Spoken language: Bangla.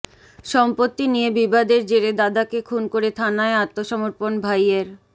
সম্পত্তি নিয়ে বিবাদের জেরে দাদাকে খুন করে থানায় আত্মসমর্পণ ভাইয়ের